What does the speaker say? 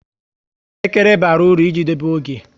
Elekere bara uru i ji dobe oge